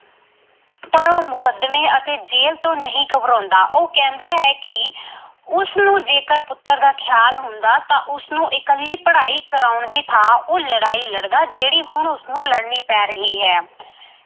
ਪਰ ਉਹ ਮੁਕੱਦਮੇ ਅਤੇ ਜੇਲ ਤੋਂ ਨਹੀਂ ਘਬਰਾਉਂਦਾ ਉਹ ਕਹਿੰਦਾ ਹੈ ਕਿ ਉਸਨੂੰ ਜੇਕਰ ਪੁੱਤਰ ਦਾ ਖਿਆਲ ਹੁੰਦਾ ਤਾਂ ਉਸਨੂੰ ਇਕੱਲੀ ਪੜ੍ਹਾਈ ਕਰਾਉਣ ਦੀ ਥਾਂ ਉਹ ਲੜਾਈ ਲੜਦਾ ਜਿਹੜੀ ਹੁਣ ਉਸਨੂੰ ਲੜਨੀ ਪੈ ਰਹੀ ਹੈ।